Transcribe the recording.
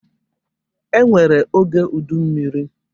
E nwere oge udummiri.